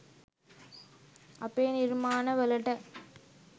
අපේ නිර්මාණ වලට